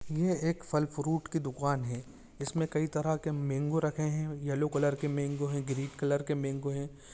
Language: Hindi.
ये एक फल फ्रूट की दुकान है इसमें कई तरह के मेंगो रखे हैं यल्लो कलर के मेंगो हैं ग्रीन कलर के मेंगो हैं।